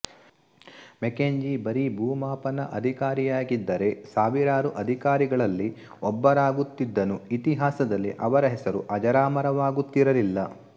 Mackenzie ಬರಿ ಭೂಮಾಪನ ಅಧಿಕಾರಿಯಾಗಿದ್ದರೆ ಸಾವಿರಾರು ಅಧಿಕಾರಿಗಳಲ್ಲಿ ಒಬ್ಬರಾಗುತ್ತಿದ್ದನುಇತಿಹಾಸದಲ್ಲಿ ಅವರ ಹೆಸರು ಅಜರಾಮರವಾಗುತ್ತಿರಲಿಲ್ಲ